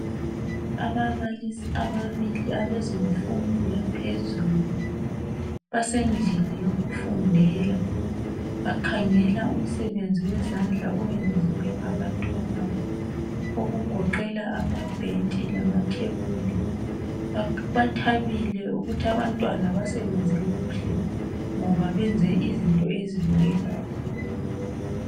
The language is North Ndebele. Ababalisi ababili abezemfundo yaphezulu basendlini yokufundela Bakhangela umsebenzi wezandla owenziwe ngabantwabo okugoqela amabhentshi lamathebuli. Bathabile ukuthi abantwana basebenze kuhle ngoba benze izinto ezibukekeyo